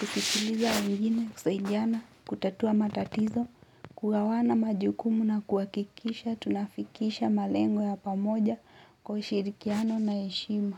kusikiliza wengine, kusaidiana, kutatua matatizo, kugawana majukumu na kuhakikisha, tunafikisha malengo ya pamoja kwa ushirikiano na heshima.